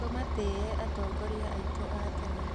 Tũmatĩĩ atongoria aitũ a tene.